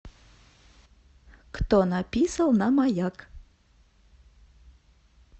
кто написал на маяк